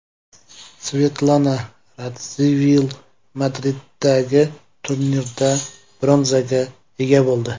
Svetlana Radzivil Madriddagi turnirda bronzaga ega bo‘ldi.